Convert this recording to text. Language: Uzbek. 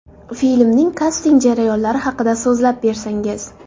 Filmning kasting jarayonlari haqida so‘zlab bersangiz.